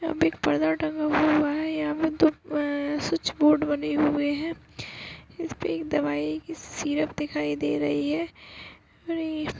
यहाँ पे एक पर्दा टंगा हुआ-हुआ है यहाँ पे दो आ स्विच बोर्ड बने हुए हैं इसपे एक दवाई की सीरप दिखाई दे रही है म --